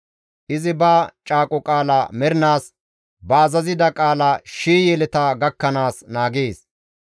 Izi ba caaqo qaala mernaas ba azazida qaala shii yeleta gakkanaas naagees.